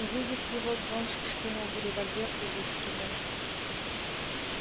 увидев его джонс вскинул револьвер и выстрелил